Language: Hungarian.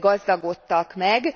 gazdagodtak meg.